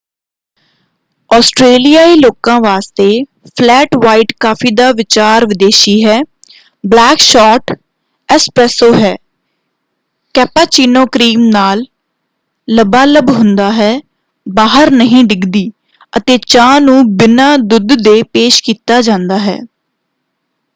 ਆਸਟਰੇਲੀਆਈ ਲੋਕਾਂ ਵਾਸਤੇ 'flat white' coffee ਦਾ ਵਿਚਾਰ ਵਿਦੇਸ਼ੀ ਹੈ। ਬਲੈਕ ਸ਼ੋਰਟ 'ਐਸਪ੍ਰੈਸੋ' ਹੈ ਕੈਪਾਚੀਨੋ ਕ੍ਰੀਮ ਨਾਲ ਲਬਾਲਬ ਹੁੰਦਾ ਹੈ ਬਾਹਰ ਨਹੀਂ ਡਿੱਗਦੀ ਅਤੇ ਚਾਹ ਨੂੰ ਬਿਨਾਂ ਦੁੱਧ ਦੇ ਪੇਸ਼ ਕੀਤਾ ਜਾਂਦਾ ਹੈ।